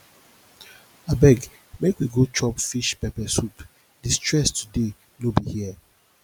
abeg make we go chop fish pepper soup di stress today no be here